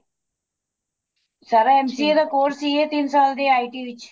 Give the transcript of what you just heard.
ਸਾਰਾ MCA ਦਾ course ਸੀ ਇਹ ਤਿੰਨ ਸਾਲ ਦੀ IT ਵਿੱਚ